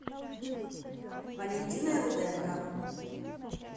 валентиной руденко